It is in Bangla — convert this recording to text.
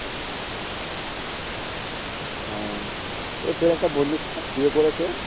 ওহ, এই তোদের একটা বন্ধু ছিল না বিয়ে করেছে?